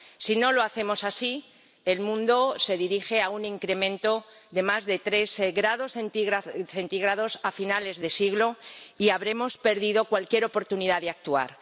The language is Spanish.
Si no lo hacemos así, el mundo se dirige hacia un incremento de más de tres grados centígrados a finales de siglo y habremos perdido cualquier oportunidad de actuar.